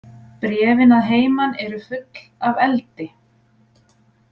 Bréfin að heiman eru full af eldi.